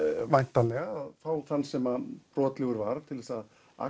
væntanlega fá þann sem brotlegur var til þess að